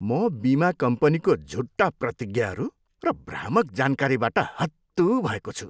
म बिमा कम्पनीको झुटा प्रतिज्ञाहरू र भ्रामक जानकारीबाट हत्तु भएको छु।